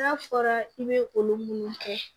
N'a fɔra i bɛ olu minnu kɛ